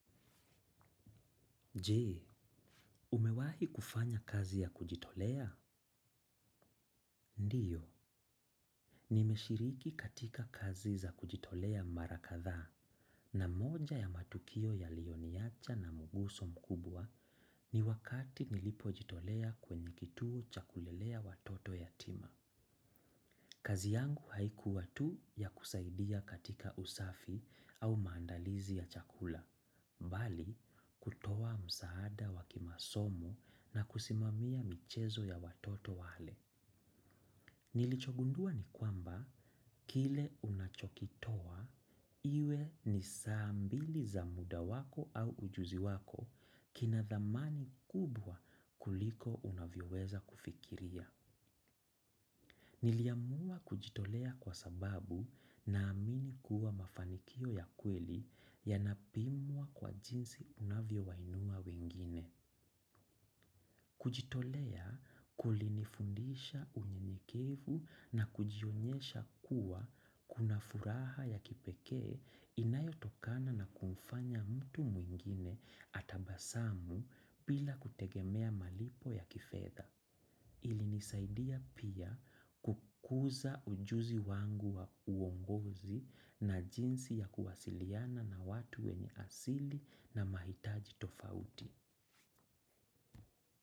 Je, umewahi kufanya kazi ya kujitolea? Ndiyo. Nimeshiriki katika kazi za kujitolea mara kadhaa na moja ya matukio yaliyoniacha na mguso mkubwa ni wakati nilipojitolea kwenye kituo cha kulelea watoto yatima. Kazi yangu haikua tu ya kusaidia katika usafi au maandalizi ya chakula, mbali kutoa msaada wa kimasomo na kusimamia michezo ya watoto wale. Nilichogundua ni kwamba, kile unachokitoa, iwe ni saa mbili za muda wako au ujuzi wako kina dhamani kubwa kuliko unavyoweza kufikiria. Niliamua kujitolea kwa sababu naamini kuwa mafanikio ya kweli yanapimwa kwa jinsi unavyowainua wengine. Kujitolea kulinifundisha unyenyekevu na kujionyesha kuwa kuna furaha ya kipekee inayotokana na kumfanya mtu mwingine atabasamu bila kutegemea malipo ya kifedha. Ilinisaidia pia kukuza ujuzi wangu wa uongozi na jinsi ya kuwasiliana na watu wenye asili na mahitaji tofauti.